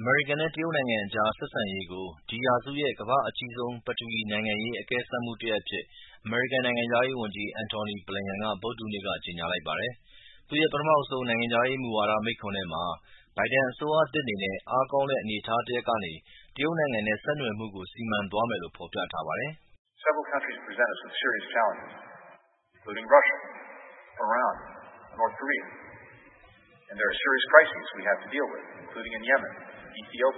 အမေရိကန်နဲ့တရုတ်နိုင်ငံအကြား ဆက်ဆံရေးကို ဒီရာစုရဲ့ ကမ္ဘာ့အကြီးဆုံး ပထဝီနိုင်ငံရေး အကဲစမ်းမှု တရပ်အဖြစ် အမေရိကန်နိုင်ငံခြားရေးဝန်ကြီး Antony Blinken ဗုဒ္ဓဟူးနေ့က ကြေညာလိုက်ပါတယ်။ သူ့ရဲ့ ပထမဦးဆုံး နိုင်ငံခြားရေးမူဝါဒမိန့်ခွန်းထဲမှာ ဘိုင်ဒန်အစိုးရသစ်အနေနဲ့အားကောင်းတဲ့ အနေထားတရပ်ကနေ တရုတ်နိုင်ငံနဲ့ဆက်နွယ်မှုကို စီမံသွားမယ်လို့ဖော်ပြထားပါတယ်။ “ တရုတ်နိုင်ငံရဲ့ စိန်ခေါ်မ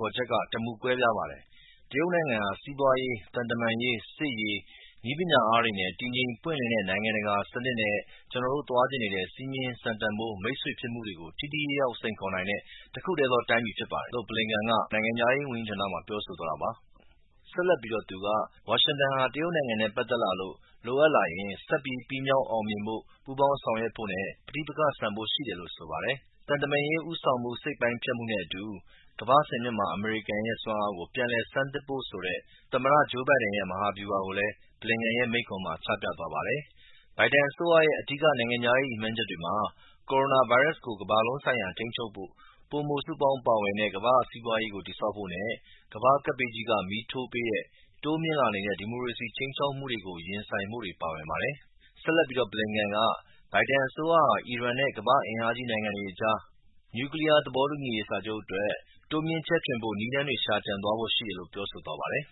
ှုချက်က တမူကွဲပြားပါတယ်။ တရုတ်နိုင်ငံဟာ စီးပွားရေး၊ သံတမန်ရေး၊ စစ်ရေး၊ နည်းပညာအားတွေနဲ့ တည်ငြိမ်ပွင့်လင်းတဲ့ နိုင်ငံတကာစနစ်နဲ ့ကျနော်တို သွားချင်နေတဲ့ စည်းမျဉ်း၊ စံတန်ဖိုးနဲ့မိတ်ဆွေဖြစ်မှုတွေကို ထိထိရောက်ရောက်စိန်ခေါ်နိင်တဲ့ တခုတည်းသောတိုင်းပြည်ဖြစ်ပါတယ်။ ” လို့ Blinken က နိုင်ငံခြားရေး ဝန်ကြီးဌာနမှာ ပြောဆိုသွားပါတယ်။ ဆက်လက်ပြီး သူက ဝါရှင်တန်ဟာ တရုတ်နိုင်ငံနဲ့ ပက်သက်လာလို့ လိုအပ်လာရင် ဆက်ပြီး ပြီးမြောက်အောင်မြင်ဖို့၊ ပူးပေါင်းဆောင်ရွက်ဖို့နဲ့ ပဋိပက္ခဆန်ဖို့ရှိတယ်လို့ဆိုပါတယ်။ သံတမန်ရေးဦးဆောင်မှုစိတ်ပိုင်းဖြတ်မှုနဲ့အတူ ကမ္ဘာ့ စင်မြင့်မှာ အမေရိကန်ရဲ့ စွမ်းအားကို ပြန်လည်ဆန်းသစ်ဖို့ဆိုတဲ့ သမ္မတ Joe Biden ရဲ့ မဟာဗျူဟာကို Blinken ရဲ့ မိန့်ခွန်းမှာ ချပြသွားပါတယ်။ ဘိုင်ဒန်အစိုးရရဲ့ အဓိက နိုင်ငံခြားရေး ရည်မှန်းချက်တွေမှာ ကိုရိုနာဗိုင်းရပ်စ်ကို ကမ္ဘာလုံးဆိုင်ရာထိန်းချုပ်ဖို့၊ ပိုမိုစုပေါင်းပါဝင်တဲ့ ကမ္ဘာ့စီးပွားရေးကို တည်ဆောက်ဖို့နဲ့ကမ္ဘာ့ကပ်ဘေးကြီးက မီးထိုးပေးတဲ့ တိုးမြင့်လာနေတဲ့ ဒီမိုကရေစီစနစ်အပေါ် ခြိမ်းခြောက်မှုတွေကို ရင်ဆိုင်ကြဖို့တွေ ပါဝင်ပါတယ်။ ဆက်လက်ပြီး Blinken က ဘိုင်ဒန်အစိုးရဟာ အီရန်နဲ့ ကမ္ဘာ့ အင်အားကြီးနိုင်ငံတွေအကြား နျူကလီးယား သဘောတူညီရေးစာချုပ်အတွက် တိုးမြှင့်ချဲ့ထွင်မယ်ဖို့နည်းလမ်းရှာကြံသွားဖို့ရှိတယ်လို့ပြောဆိုသွားပါတယ်။